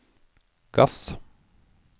gass